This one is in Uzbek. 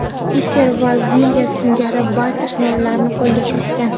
Iker ham Vilya singari barcha sovrinlarni qo‘lga kiritgan.